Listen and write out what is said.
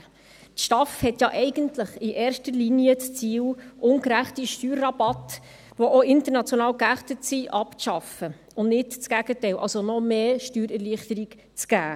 Die STAF hat ja in erster Linie das Ziel, ungerechte Steuerrabatte, welche auch international geächtet sind, abzuschaffen und nicht das Gegenteil, also noch mehr Steuererleichterung zu geben.